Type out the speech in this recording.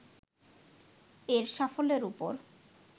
এর সাফল্যের উপর